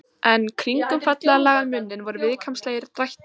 En kringum fallega lagaðan munninn voru viðkvæmnislegir drættir.